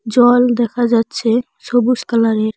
জল দেখা যাচ্ছে সবুজ কালারের ।